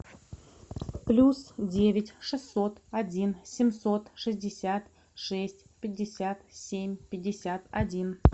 плюс девять шестьсот один семьсот шестьдесят шесть пятьдесят семь пятьдесят один